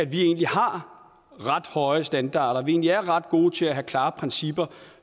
vi egentlig har ret høje standarder at vi egentlig er ret gode til at have klare principper